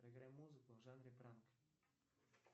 проиграй музыку в жанре пранк